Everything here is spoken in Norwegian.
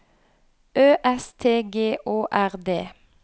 Ø S T G Å R D